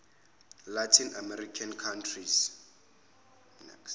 latin american countries